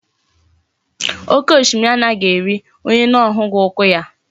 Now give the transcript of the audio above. Oke oshimiri anaghi eri onye ona ahughi ukwu ya